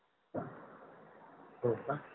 होका